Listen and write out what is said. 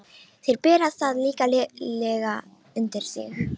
Þeir bera það líklega undir þig.